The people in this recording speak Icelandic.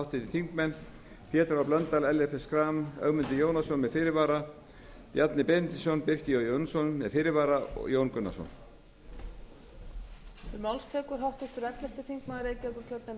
háttvirtir þingmenn pétur h blöndal ellert b schram ögmundur jónasson með fyrirvara bjarni benediktsson birkir j jónsson með fyrirvara og jón gunnarsson